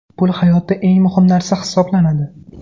Pul hayotda eng muhim narsa hisoblanadi.